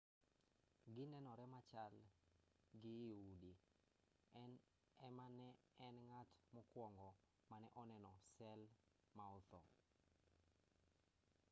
ginenore machal gi i udi en ema ne en ng'at mokwongo mane oneno sel ma otho